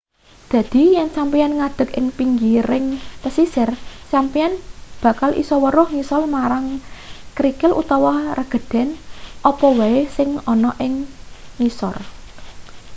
dadi yen sampeyan ngadeg ing pinggiring pesisir sampeyan bakal isa weruh ngisor marang krikil utawa regedan apa wae sing ana ing ngisor